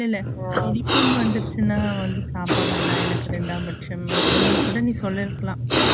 இல்ல படிப்புன்னு வந்துருச்சுனா வந்து சாப்பாடு எல்லா எனக்கு ரெண்டாம் பட்சம்னு அப்பிடுனு கூட நீ சொல்லிருக்கலாம்